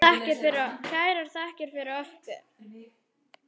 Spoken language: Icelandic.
Kærar þakkir fyrir okkur.